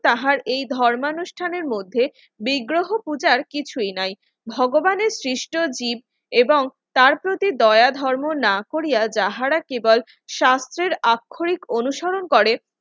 তাহার এই ধর্মানুষ্ঠানের মধ্যে বিগ্রহ পূজার কিছুই নাই ভগবানের সৃষ্ট জীব এবং তার প্রতি দয়া ধর্ম না করিয়া যাহারা কেবল স্বাস্থ্যের আক্ষরিক অনুসরণ করে